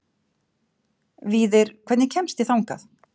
Víðir, hvernig kemst ég þangað?